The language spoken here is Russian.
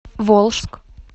волжск